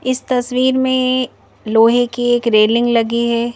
इस तस्वीर मेंलोहे की एक रेलिंग लगी है।